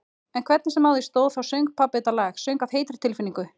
En hvernig sem á því stóð þá söng pabbi þetta lag, söng af heitri tilfinningu-